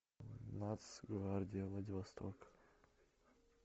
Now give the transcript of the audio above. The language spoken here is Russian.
нацгвардия владивосток